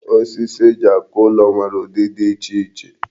Osisi eji akụ ụlọ nwere udi di iche iche.